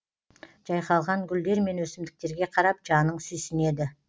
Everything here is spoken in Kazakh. жайқалған гүлдер мен өсімдіктерге қарап жаның сүйсінеді